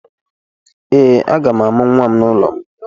Ee, aga m amụ nwa m n’ụlọ m.